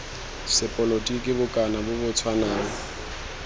sepolotiki bokana bo bo tshwanang